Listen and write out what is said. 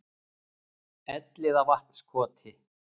Elliðavatnskoti